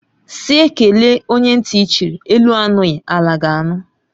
Sị kelee onye nti chịrị, elu anụghi ala ga anụ